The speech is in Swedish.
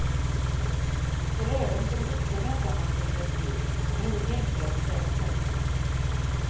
Så även som vuxen väntar man på direktiv, man kan inte tänka och bestämma själv.